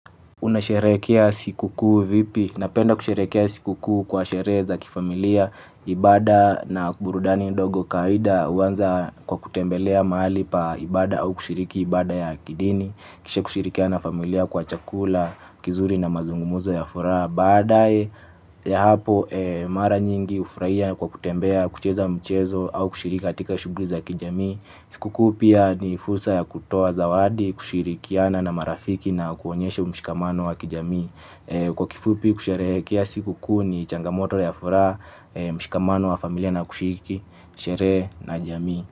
Unasherekea siku kuu vipi? Napenda kusherekea siku kuu kwa sherehe za kifamilia, ibada na burudani ndogo kawaida huanza kwa kutembelea mahali pa ibada au kushiriki ibada ya kidini, kisha kushirikiana na familia kwa chakula, kizuri na mazungumzo ya furaha. Badae ya hapo mara nyingi ufurahia kwa kutembea kucheza mchezo au kushirika katika shughuli za kijamii. Siku kuu pia ni fursa ya kutoa zawadi kushirikiana na marafiki na kuonyesha mshikamano wa kijamii. Kwa kifupi kusherehekea siku kuu ni changamoto ya furaha mshikamano wa familia na kushiriki. Sherehe na jamii.